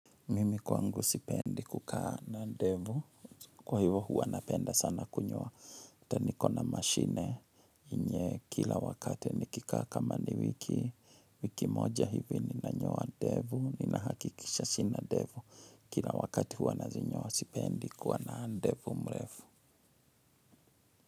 Mimi kwangu sipendi kukaa na ndevu. Kwa hivyo huwa napenda sana kunywa. Ata niko na mashine enye kila wakati nikikaa kama ni wiki wiki moja hivi ninanyoa ndevu. Ninahakikisha sina ndevu. Kila wakati huwa nazinyoa sipendi kuwa na ndevu mrefu.